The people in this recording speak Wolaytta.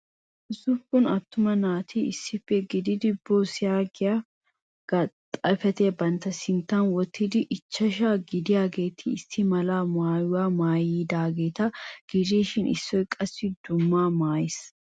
Ussuppun attuma naati issippe eqqidi boss Yossi yaagiyaa xifatiyaa bantta sinttan wottidi ichashsha gidiyaageeti issi mala maayyuwa maayyidaageeta gidishin issoy qassi dumma maayyiis.